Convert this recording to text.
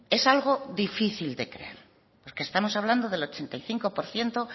es algo difícil de creer porque estamos hablando del ochenta y cinco por ciento